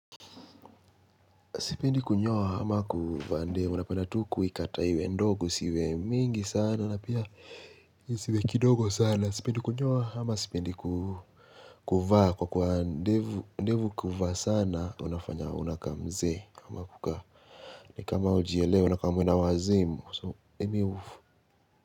Sipendi kunyoa ama kuvaa ndevu, napenda tu kuikata iwe ndogo, isiwe mingi sana, napia, isiwe kidogo sana, sipendi kunyoa ama spendi kuvaa, kwa kuwa ndevu, ndevu ukiuvaa sana, unafanya unakaa mzee, kama kuka, ni kama ujielewi, unakaa mwenda wazimu, so, emi uvu.